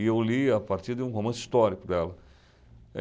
E eu li a partir de um romance histórico dela.